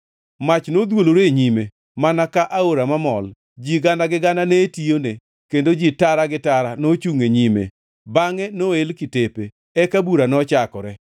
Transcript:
Mach nodhuolore e nyime, mana ka aora mamol! Ji gana gi gana ne tiyone; kendo ji tara gi tara nochungʼ e nyime. Bangʼe noel kitepe eka bura nochakore.